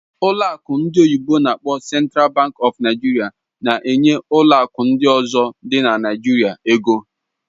Ụlọ akụ ndị oyibo n'akpọ "Central Bank of Nigeria" na-ekenye ụlọ akụ ndị ọzọ dị na Naịjirịa ego.